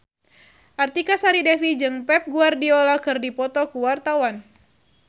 Artika Sari Devi jeung Pep Guardiola keur dipoto ku wartawan